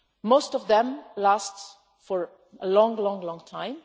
Most of them last for a long, long time.